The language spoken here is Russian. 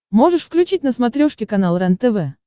можешь включить на смотрешке канал рентв